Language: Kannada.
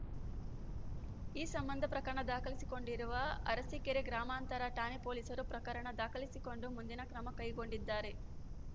ಈ ಸಂಬಂಧ ಪ್ರಕರಣ ದಾಖಲಿಸಿಕೊಂಡಿರುವ ಅರಸೀಕೆರೆ ಗ್ರಾಮಾಂತರ ಠಾಣೆ ಪೊಲೀಸರು ಪ್ರಕರಣ ದಾಖಲಿಸಿಕೊಂಡು ಮುಂದಿನ ಕ್ರಮ ಕೈಗೊಂಡಿದ್ದಾರೆ